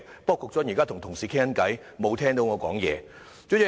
不過，局長現正與同事聊天，沒有聽到我的發言。